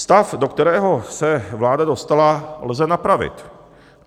Stav, do kterého se vláda dostala, lze napravit.